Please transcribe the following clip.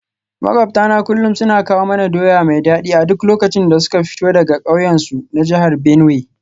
Makwabtana kullum suna kawo mana doya mai dadi a duk lokacin da suka fito daga kauyensu na jihar Benue.